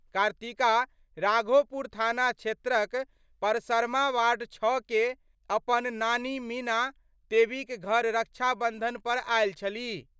कार्तिका राघोपुर थाना क्षेत्रक परासरमा वार्ड 6 मे अपन नानी मीना देवीक घर रक्षाबंधन पर आएल छलीह।